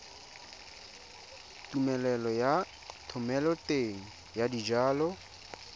tumelelo ya thomeloteng ya dijalo